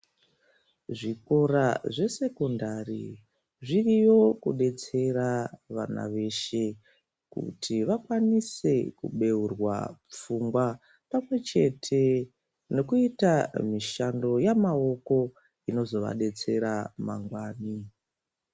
Zvikora zvesekendari zviriyo kudetsera muntu weshe kuti vakwanise kubeurwa pfungwa pamwe chete ngekuita mishando yemaoko imozovadetsera mangwani